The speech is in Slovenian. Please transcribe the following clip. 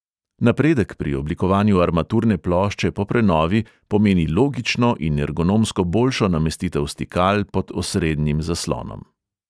Napredek pri oblikovanju armaturne plošče po prenovi pomeni logično in ergonomsko boljšo namestitev stikal pod osrednjim zaslonom.